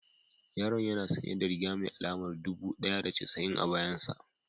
Yaron yana sanye da riga mai alamar dubu ɗaya da casa'in a bayan sa